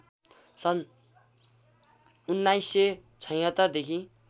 सन् १९७६ देखि